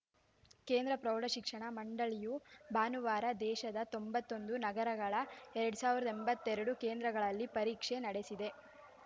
ಕೇಂದ್ರ ಪ್ರೌಢಶಿಕ್ಷಣ ಮಂಡಳಿಯು ಭಾನುವಾರ ದೇಶದ ತೊಂಬತ್ತೊಂದು ನಗರಗಳ ಎರಡ್ ಸಾವಿರದ ಎಂಬತ್ತೆರಡು ಕೇಂದ್ರಗಳಲ್ಲಿ ಪರೀಕ್ಷೆ ನಡೆಸಿದೆ